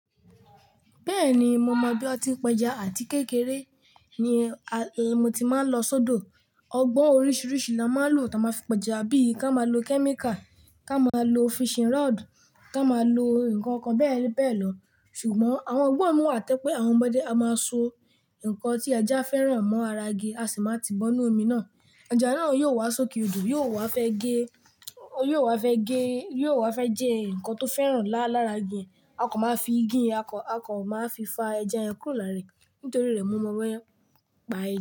Bẹ́ẹ̀ni, mo mọ̀ bí a ti ń pẹja àti kékeré ni a e mo ti máa ń lọ sódò. Ọgbọ́n oríṣiríṣi la máa ń lò táa máa fi pẹja. Bí i ká máa lo kẹ́míkà, ká máa lo fishing rod, ká máa lo nǹkan kan bẹ́ẹ̀ bẹ́ẹ̀ lọ. Ṣùgbọ́n àwọn gbọ́n mi wá tẹ́ pé àwọn ọmọdé a máa so ǹnkan tí ẹja fẹ́ràn mó ara igi, a sì máa ti bọ́nu omi náà. Ẹja náà yóò wá sókè odò, yóò wá fẹ́ gé, yóò wá fẹ́ gé, yóò wá fẹ́ jẹ ǹnkan tó fẹ́ràn la lára igi yẹn, a kò máa fi igi yẹn, a kò, a kò máa fi fa ẹja yẹn kúrò lára rẹ̀ nítorí rẹ̀ mọ́mọ́ bo ye n pa ẹ́